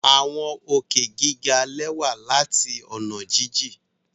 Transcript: Awọn òkè giga lẹwa lati ọna jijin